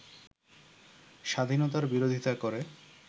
স্বাধীনতার বিরোধিতা করে